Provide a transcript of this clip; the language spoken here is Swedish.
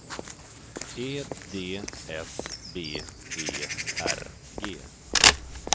E D S B E R G